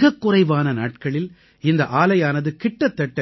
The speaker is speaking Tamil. மிகக் குறைவான நாட்களில் இந்த ஆலையானது கிட்டத்தட்ட